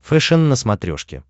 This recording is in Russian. фэшен на смотрешке